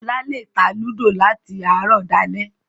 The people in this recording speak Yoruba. Ọlá lè ta Ludo láti àárọ̀ dalẹ́